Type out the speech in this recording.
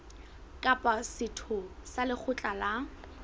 kapa setho sa lekgotla la